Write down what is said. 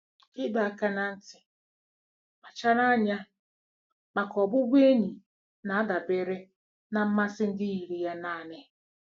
Ịdọ aka ná ntị: Kpachara anya maka ọbụbụ enyi na-adabere na mmasị ndị yiri ya naanị.